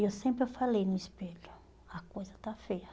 E eu sempre eu falei no espelho, a coisa está feia.